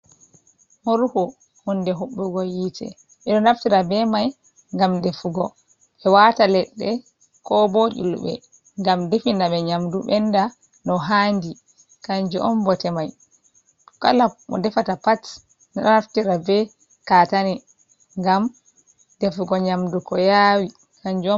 Moruhu, honde hobbugo yite bedo naftira be mai gam defugo be wata ledde ko bo iulbe gam definabe nyamdu benda no handi kanju un bote mai, kala mo defata pat naftira be katane ngam defugo nyamdu ko yawi kanjum.